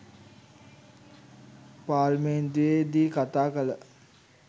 පාර්ලිමේන්තුවේ දී කතා කළ